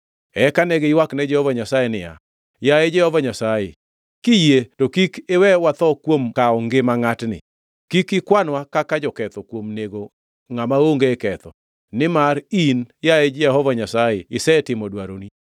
Eka ne giywakne Jehova Nyasaye niya, “Yaye Jehova Nyasaye, kiyie to kik iwewa watho kuom kawo ngima ngʼatni. Kik ikwanwa kaka joketho kuom nego ngʼama onge ketho, nimar in, yaye Jehova Nyasaye, isetimo dwaroni.”